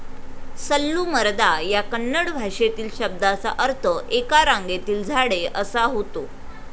सल्लूमरदा या कन्नड भाषेतील शब्दाचा अर्थ 'एका रांगेतील झाडे ' असा होतो.